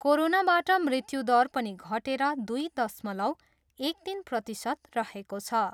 कोरोनाबाट मृत्यु दर पनि घटेर दुई दशमलव एक तिन प्रतिशत रहेको छ।